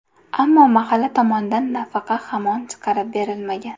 Ammo mahalla tomonidan nafaqa hamon chiqarib berilmagan.